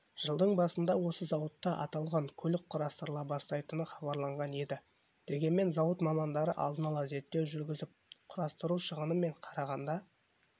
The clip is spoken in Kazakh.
жылдың басында осы зауытта аталған көлік құрастырыла бастайтыны хабарланған еді дегенмен зауыт мамандары алдын ала зерттеу жүргізіп құрастыру шығыны мен қарағанда